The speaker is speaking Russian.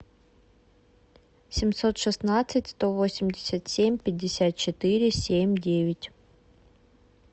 семьсот шестнадцать сто восемьдесят семь пятьдесят четыре семь девять